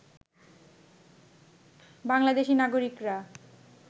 বাংলাদেশী নাগরিকরা